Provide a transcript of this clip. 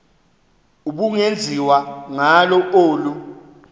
ubungenziwa ngalo olu